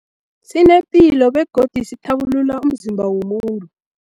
Sinepilo begodi sithabulula umzimba womuntu.